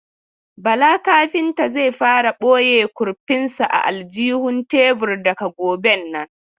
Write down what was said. Bala kafinta zai fara ɓoye kurfin sa a aljihun tebur daga goben nan.